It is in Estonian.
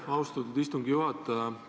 Aitäh, austatud istungi juhataja!